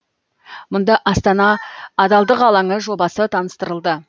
мұнда астана адалдық алаңы жобасы таныстырылды